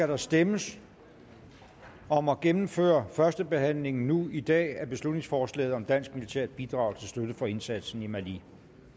der stemmes om at gennemføre førstebehandlingen nu i dag af beslutningsforslaget om dansk militært bidrag til støtte for indsatsen i mali